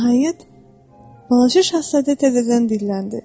Nəhayət, balaca şahzadə təzədən dilləndi.